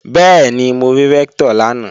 Bẹ́ẹ̀ni, mo rí Rẹ́ktọ̀ lánàá